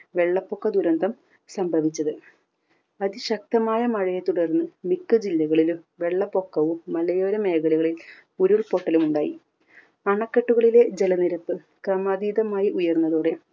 വെള്ളപ്പൊക്ക ദുരന്തം സംഭവിച്ചത്. അതിശക്തമായ മഴയെ തുടർന്ന് മിക്ക ജില്ലകളിലും വെള്ളപ്പൊക്കവും മലയോര മേഖലകളിൽ ഉരുൾ പൊട്ടലും ഉണ്ടായി. അണക്കെട്ടുകളിലെ ജലനിരപ്പ് ക്രമാതീതമായി ഉയർന്നതോടെ